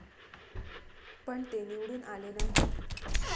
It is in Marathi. पण, ते निवडून आले नाही?